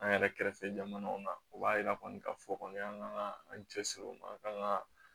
An yɛrɛ kɛrɛfɛ jamanaw na o b'a yira kɔni ka fɔ kɔni an ka an cɛ siri o ma kan ka